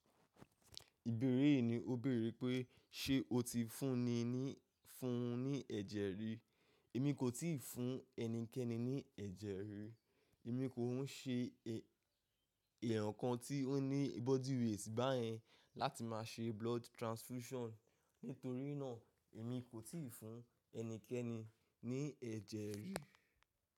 Ìbéèrè yìí ni ó béèrè pé, ṣe o ti fún ni ní, fún un ní ẹ̀jẹ̀ rí? Èmi kò tíì fún ẹnikẹ́ni ní ẹ̀jẹ̀ rí. Èmi kò ń ṣe ẹ̀ẹ̀yàn kan tí ó ní body weight báyẹn láti máa ṣe blood transfusion. Nítorí náà, èmi kò tíì fún ẹnikẹ́ni ní ẹ̀jẹ̀ rí.